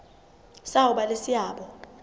sa ho ba le seabo